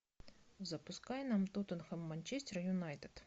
запускай нам тоттенхэм манчестер юнайтед